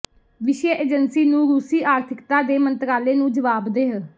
ਵਿਸ਼ੇ ਏਜੰਸੀ ਨੂੰ ਰੂਸੀ ਆਰਥਿਕਤਾ ਦੇ ਮੰਤਰਾਲੇ ਨੂੰ ਜਵਾਬਦੇਹ